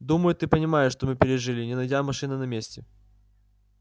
думаю ты понимаешь что мы пережили не найдя машины на месте